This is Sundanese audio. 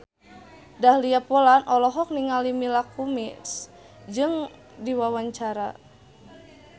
Dahlia Poland olohok ningali Mila Kunis keur diwawancara